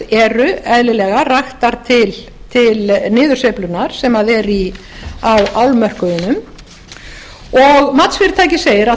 eru eðlilega raktar til niðursveiflunnar sem er á álmörkuðunum og matsfyrirtækið segir að